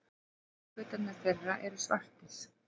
Línuskautarnir þeirra eru svartir.